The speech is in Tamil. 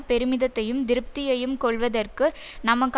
பெருமிதத்தையும் திருப்தியையும் கொள்வதற்கு நமக்கு